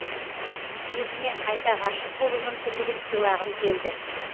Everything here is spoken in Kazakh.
өзіме қайта ғашық болу мүмкіндігін сыйлағым келді